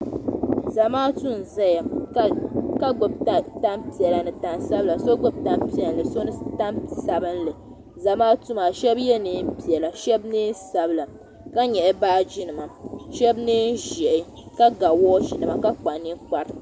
zamaatu n zayaŋɔ ka gbubi tanpiɛlla ni tansabili so gbubi so ni tansabinli zamaatu maa shɛbiyɛ neen sabila ka nyaɣi shɛbi neenziɛhi ka ga waachinima ka kpa ninkpra